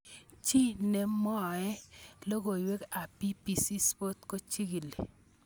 Chi ne mwai logoiwek ab BBC Sports kochigili.